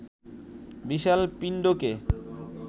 বিশাল পিণ্ডকে